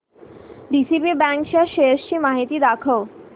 DCB bank च्या shares ची माहिती दाखव